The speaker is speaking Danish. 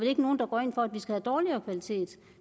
ikke nogen der går ind for at vi skal have dårligere kvalitet